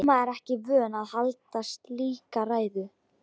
Amma er ekki vön að halda slíka ræðu.